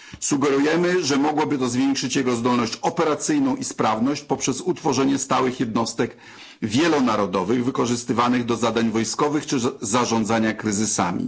Sugerujemy, że mogłoby to zwiększyć jego zdolność operacyjną i sprawność poprzez utworzenie stałych jednostek wielonarodowych wykorzystywanych do zadań wojskowych czy zarządzania kryzysami.